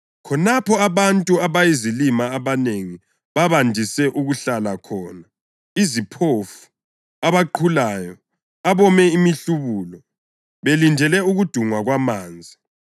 Khonapho abantu abayizilima abanengi babandise ukuhlala khona, iziphofu, abaqhulayo, abome imihlubulo [belindele ukudungwa kwamanzi;